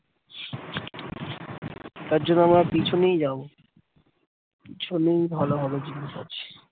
তার জন্য আবার পিছনেই যাব পিছনেই ভাল হবে